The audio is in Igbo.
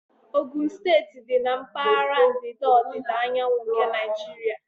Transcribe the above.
Ogun steeti dị na mpaghara ndịda ọdịda anyanwụ nke Naijiria.